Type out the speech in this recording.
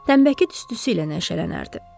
Tənbəki tüstüsü ilə nəşələnərdi.